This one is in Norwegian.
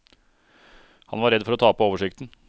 Han var redd for å tape oversikten.